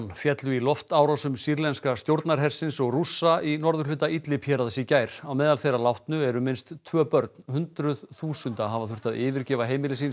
féllu í loftárásum sýrlenska stjórnarhersins og Rússa í norðurhluta Idlib héraðs í gær á meðal þeirra látnu eru minnst tvö börn hundruð þúsunda hafa þurft að yfirgefa heimili sín